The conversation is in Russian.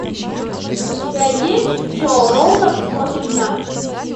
у тебя есть джо роган хочет знать